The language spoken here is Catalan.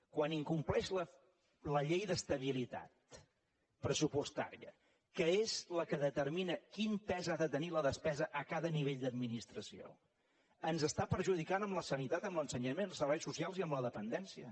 quan incompleix la llei d’estabilitat pressupostària que és la que determina quin pes ha de tenir la despesa a cada nivell d’administració ens està perjudicant en la sanitat i en l’ensenyament els serveis socials i en la dependència